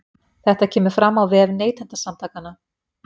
Þetta kemur fram á vef Neytendasamtakanna